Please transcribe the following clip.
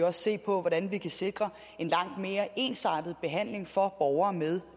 også se på hvordan vi kan sikre en langt mere ensartet behandling for borgere med